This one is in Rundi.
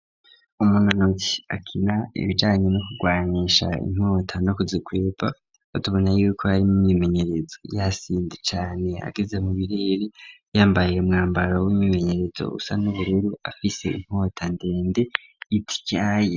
Umunonotsi akina ibijanye no ku rwanisha inkota no ku zikwepa duca tubona yuko yari mu myimenyerezo yasimvye cane ageze mu birere yambaye umwambaro w'imyimenyerezo usa n'ubururu afise inkota ndende ityaye.